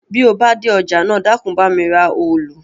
Bí o bá dé ọjà náà, Dákun bá mi ra òòlù